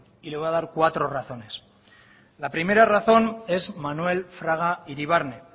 y de voy a dar cuatro razones la primera razón es manuel fraga iribarne